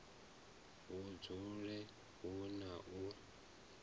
hu dzule hu na u